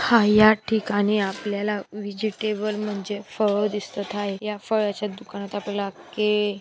हा या ठिकाणी आपल्याला व्हेजीटेबल म्हणजे फळ दिसत आहे या फळाच्या दुकानात आपल्याला ये--